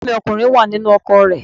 Ẹ̀gbọ́n mi ọkùnrin wà nínú ọkọ̀ rẹ̀